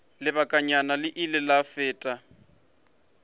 lebakanyana o ile a fela